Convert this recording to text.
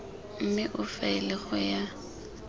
mme o faele go ya